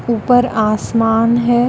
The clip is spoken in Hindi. ऊपर आसमान है।